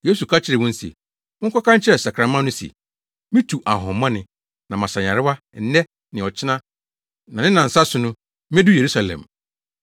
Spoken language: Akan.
Yesu ka kyerɛɛ wɔn se, “Monkɔka nkyerɛ sakraman no se, ‘mitu ahonhommɔne, na masa nyarewa nnɛ ne ɔkyena na ne nnansa so no, medu Yerusalem.’